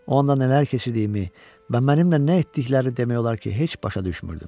O anda nələr keçirdiyimi və mənimlə nə etdikləri demək olar ki, heç başa düşmürdüm.